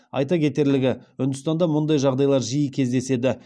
айта кетерлігі үндістанда мұндай жағдайлар жиі кездеседі